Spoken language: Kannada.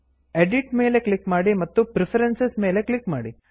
ಎಡಿಟ್ ಎಡಿಟ್ ಮೇಲೆ ಕ್ಲಿಕ್ ಮಾಡಿ ಮತ್ತು ಪ್ರೆಫರೆನ್ಸಸ್ ಪ್ರಿಫರೆನ್ಸಸ್ ಮೇಲೆ ಕ್ಲಿಕ್ ಮಾಡಿ